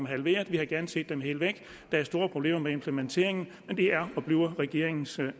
halveret vi havde gerne set dem helt væk der er store problemer med implementeringen men det er og bliver regeringens